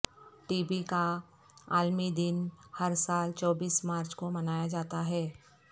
T بی کاعالمی دن ہرسال چوبیس مارچ کومنایاجاتا ہے